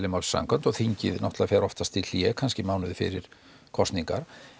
málsins samkvæmt og þingið fer oftast í hlé kannski mánuði fyrir kosningar